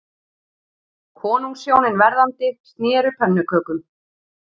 Konungshjónin verðandi sneru pönnukökum